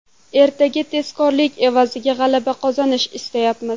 Ertaga tezkorlik evaziga g‘alaba qozonishni istaymiz.